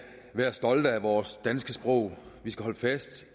være stolte af vores danske sprog vi skal holde fast